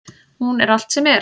Hún er allt sem er.